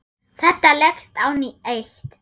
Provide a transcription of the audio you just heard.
Þetta leggst á eitt.